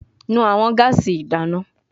Nu awọn gaasi idana